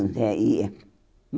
ia.